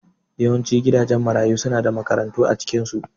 Yawancin gidajen marayu suna da makarantu a cikinsu